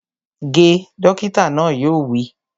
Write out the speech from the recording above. Ge! Dókítà náà yóò wí